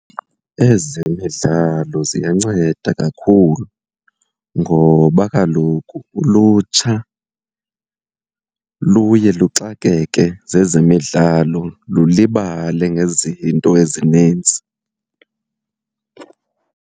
Ezemidlalo ziyanceda kakhulu ngoba kaloku ulutsha luye luxakeke zezemidlalo lulibale ngezinto ezinintsi.